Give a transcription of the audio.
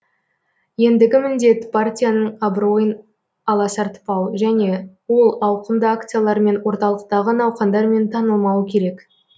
ендігі міндет партияның абыройын аласартпау және ол ауқымды акциялар мен орталықтағы науқандармен танылмауы керек